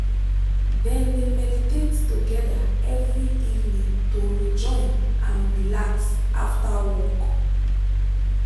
dem de meditate together every evening to rejoin and relax after work.